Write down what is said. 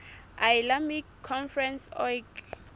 islamic conference oic